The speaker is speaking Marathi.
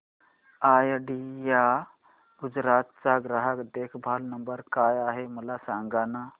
आयडिया गुजरात चा ग्राहक देखभाल नंबर काय आहे मला सांगाना